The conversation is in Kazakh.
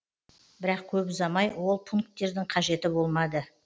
бірақ көп ұзамай ол пункттердің қажеті болмады